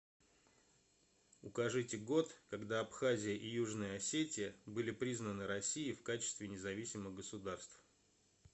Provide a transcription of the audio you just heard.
укажите год когда абхазия и южная осетия были признаны россией в качестве независимых государств